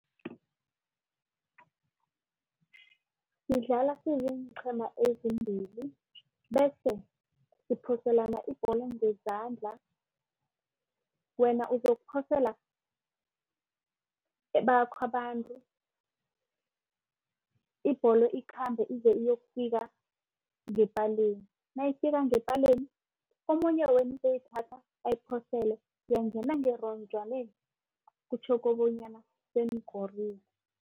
Sidlala siziinqhema ezimbili bese siphoselana ibholo ngezandla. Wena uzokuphosela bakho abantu, ibholo ikhambe ize iyokufika ngepaleni nayifika ngepaleni. Omunye wenu uzoyithatha ayiphosele yangena ngeronjwaneni kutjho kobonyana senikorile.